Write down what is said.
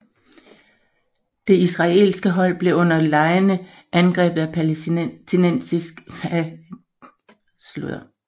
Det israelske hold blev under legene angrebet af palæstinensiske terrorister og taget som gidsler